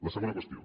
la segona qüestió